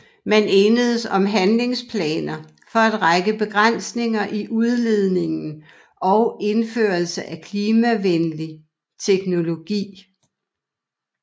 Man enedes om handlingsplaner for en række begrænsninger i udledningen og indførelse af klimavenlig teknologi